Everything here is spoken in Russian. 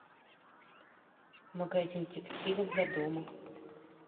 магазин текстиля для дома